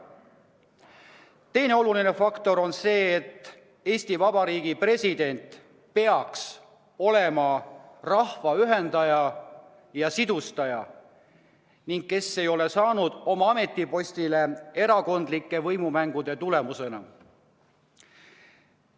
Teine oluline faktor on see, et Eesti Vabariigi president peaks olema rahva ühendaja ja sidustaja, kes ei ole saanud oma ametipostile erakondlike võimumängude tulemusena.